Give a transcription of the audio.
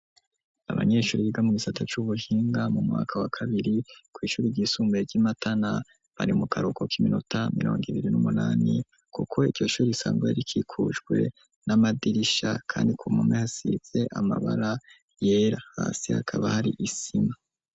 Abanyeshuri, biga mu gisata c'ubuhinga, mu mwaka, wa kabiri, kw’ishuri ryisumbuye, ry'i Matana, bari mu karuhuko, k'iminota mirongo ibiri, n'umunani; kuko iryo shuri, risanzwe, rikikujwe n'amadirisha, kandi ku mpome, yasize amabara, yera; hasi, hakaba hari, isima.